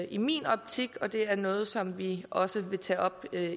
i min optik og det er noget som vi også vil tage op med